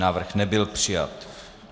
Návrh nebyl přijat.